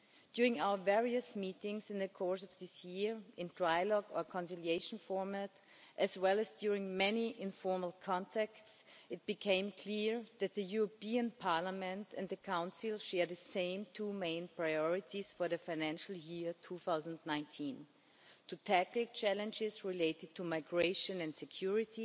During our various meetings in the course of this year in trilogue or conciliation format, as well as during many informal contacts, it became clear that Parliament and the Council share the same two main priorities for the financial year 2019 to tackle challenges related to migration and security